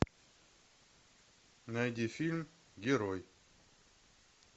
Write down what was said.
найди фильм герой